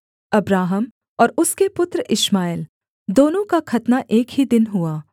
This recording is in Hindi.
अब्राहम और उसके पुत्र इश्माएल दोनों का खतना एक ही दिन हुआ